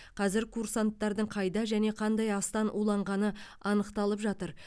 қазір курсанттардың қайда және қандай астан уланғаны анықталып жатыр